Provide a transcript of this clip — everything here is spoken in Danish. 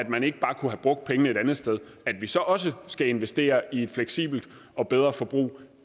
man ikke bare kunne bruge pengene et andet sted at vi så også skal investere i et fleksibelt og bedre forbrug